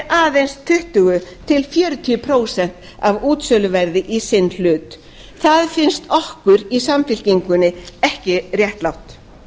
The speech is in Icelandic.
aðeins tuttugu til fjörutíu prósent af útsöluverði í sinn hlut það finnst okkur í samfylkingunni ekki réttlátt